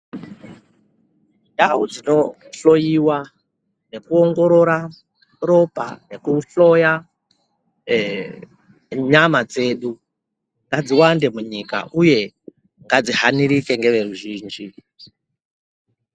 Ndau dzinohloyiwa nekuongoroora ropa nekuhloya nyama dzedu ngadziwande munyika uye ngadzihanirike ngeveruzhinji.